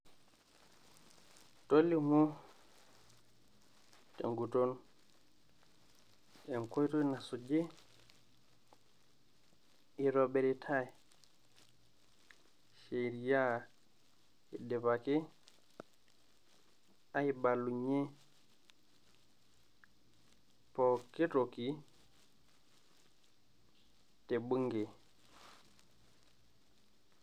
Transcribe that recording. Tolimu tenguton enkoitoi nasuji, itobiritaii sheria idipaki aibalunyiee pookin toki te bunge